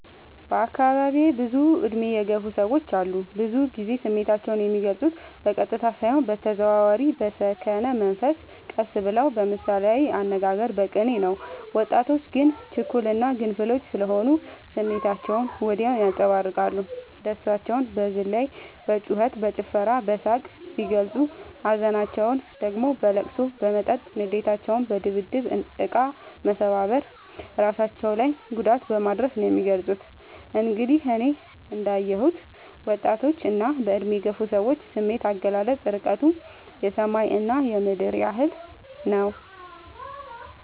በአካባቢዬ ብዙ እድሜ የገፉ ሰዎች አሉ። ብዙ ግዜ ስሜታቸው የሚልፁት በቀጥታ ሳይሆን በተዘዋዋሪ በሰከነ መንፈስ ቀስ ብለው በምሳሌያዊ አነጋገር በቅኔ ነው። ወጣቶች ግን ችኩል እና ግንፍሎች ስሆኑ ስሜታቸውን ወዲያው ያንፀባርቃሉ። ደስታቸውን በዝላይ በጩከት በጭፈራ በሳቅ ሲገልፁ ሀዘናቸውን ደግሞ በለቅሶ በመጠጥ ንዴታቸውን በድብድብ እቃ መሰባበር እራሳቸው ላይ ጉዳት በማድረስ ነው የሚገልፁት። እንግዲህ እኔ እንዳ የሁት የወጣቶች እና በእድሜ የገፉ ሰዎች ስሜት አገላለፅ እርቀቱ የሰማይ እና የምድር ያህል ነው።